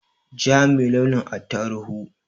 Ja me launin attaruhu